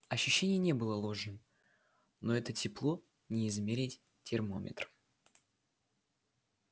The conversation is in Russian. ощущение не было ложным но это тепло не измерить термометром